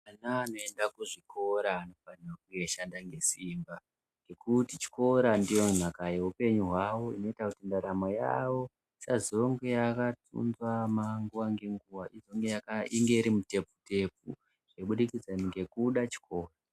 Ana anoenda ku zvikora anonga eyi shanda nge simba ngekuti chikora ndiyo nhaka ye upenyu hwawo inoita kuti ndaramo yavo isazonge yaka sungama nguva nge nguva inge iri mutepfu tepfu kubudikidza ngekuda chikoro.